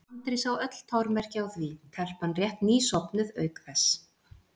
Andri sá öll tormerki á því, telpan rétt ný sofnuð, auk þess.